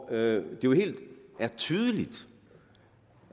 er jo helt tydeligt